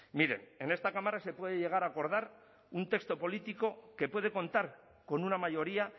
miren en esta cámara se puede llegar a acordar un texto político que puede contar con una mayoría